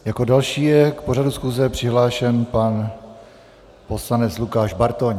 Jako další je k pořadu schůze přihlášen pan poslanec Lukáš Bartoň.